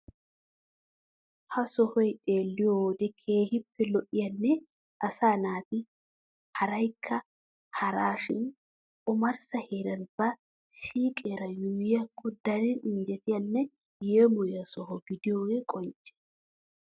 Ha sohay xeelliyo wode keehippe lo'iyanne asaa naati harikka haraashin omarssa heeran ba siiqeera yuuyyiyakko daro injjetiyanne yeemoyiya soho gidiyogee qoncce.